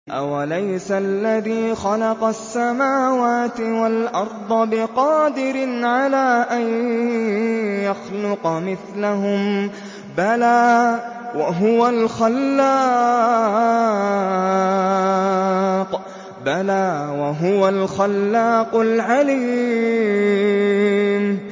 أَوَلَيْسَ الَّذِي خَلَقَ السَّمَاوَاتِ وَالْأَرْضَ بِقَادِرٍ عَلَىٰ أَن يَخْلُقَ مِثْلَهُم ۚ بَلَىٰ وَهُوَ الْخَلَّاقُ الْعَلِيمُ